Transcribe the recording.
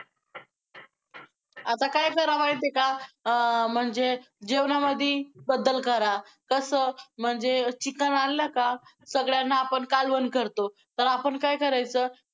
आता काय करा माहितेय का? अं म्हणजे जेवणामध्ये बदल करा, कसं म्हणजे chicken आणलं का सगळ्यांना आपण कालवण करतो तर आपण काय करायचं